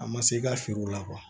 A ma se i ka siri u la